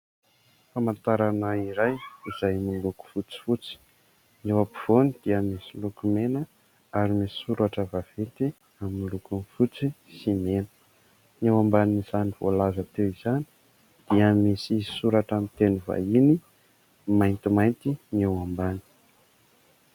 Famantarana iray izay miloko fotsifotsy : ny eo ampovoany dia misy loko mena ary misy soratra vaventy miloko fotsy sy mena. Eo ambanin'izany voalaza teo izany dia misy soratra ny teny vahiny maintimainty ny eo ambany.